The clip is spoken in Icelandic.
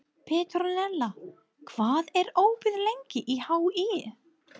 Petronella, hvað er opið lengi í HÍ?